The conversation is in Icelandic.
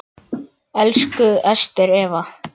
Elsku Ester Eva.